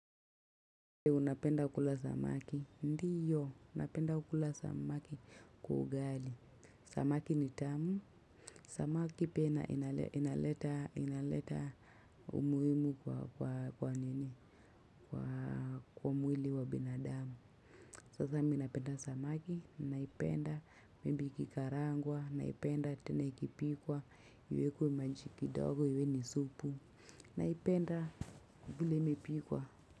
Unapenda kula samaki? Ndiyo. Napenda kukula samaki kwa ugali. Samaki ni tamu. Samaki pia inaleta umuhimu kwa kwa mwili wa binadamu. Sasa mi napenda samaki, naipenda Maybe ikikarangwa, naipenda tena ikipikwa iwekwe maji kidogo, iwe ni supu. Naipenda vile imepikwa.